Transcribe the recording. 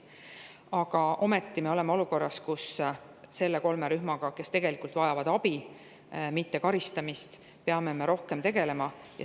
Aga ometi me oleme olukorras, kus selle kolme rühmaga, kes tegelikult vajavad abi, mitte karistamist, peame me rohkem tegelema.